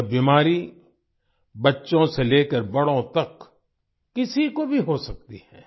यह बीमारी बच्चों से लेकर बड़ों तक किसी को भी हो सकती है